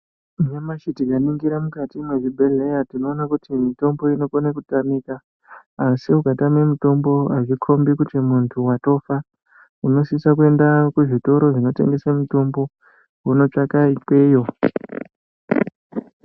Nyamashi tikaringira mukati mwezvibhehleya mutombo unokona kutamika asi ukatame mutombo azvikombi kuti muntu watofa asi kukatame mutombo unosisa kuende kuzvitoro zvinotengesa mutombo wonotsvaka ikweyo.